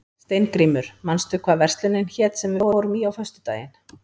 Steingrímur, manstu hvað verslunin hét sem við fórum í á föstudaginn?